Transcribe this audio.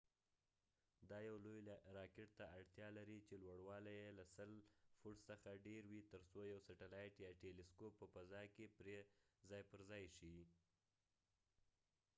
دا یو لوی راکټ ته اړتیا لري چې لوړوالی یې له 100 فوټ څخه ډیر وي تر څو یو سټلایټ یا ټيلی سکوپ په فضا کې پرې ځای پر ځای شي